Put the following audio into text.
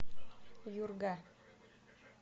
юрга